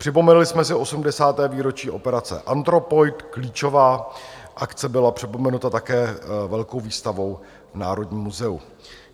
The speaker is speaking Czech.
Připomněli jsme si 80. výročí operace Anthropoid, klíčová akce byla připomenuta také velkou výstavou v Národní muzeu.